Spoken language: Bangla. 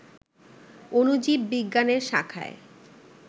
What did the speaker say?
অণুজীব বিজ্ঞানের শাখায়